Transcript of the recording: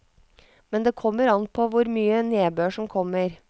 Men det kommer an på hvor mye nedbør som kommer.